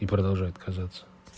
и продолжает казаться